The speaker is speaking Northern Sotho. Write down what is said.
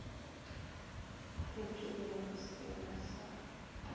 hlwekile go se na sa